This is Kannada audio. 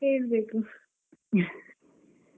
ಹೇಳ್ಬೇಕು .